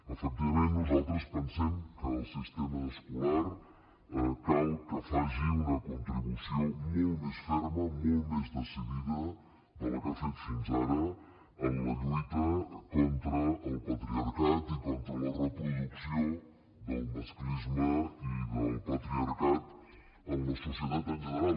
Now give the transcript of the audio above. efectivament nosaltres pensem que el sistema escolar cal que faci una contribució molt més ferma molt més decidida de la que ha fet fins ara en la lluita contra el patriarcat i contra la reproducció del masclisme i del patriarcat en la societat en general